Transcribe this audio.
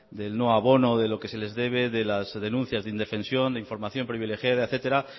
del no abono de lo que se les debe de las denuncias de indefensión de información privilegiada etcétera